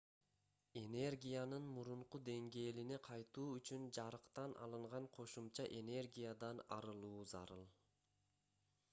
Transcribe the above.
энергиянын мурунку деңгээлине кайтуу үчүн жарыктан алынган кошумча энергиядан арылуу зарыл